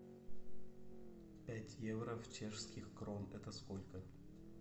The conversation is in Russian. пять евро в чешских крон это сколько